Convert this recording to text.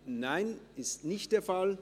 – Das ist nicht der Fall.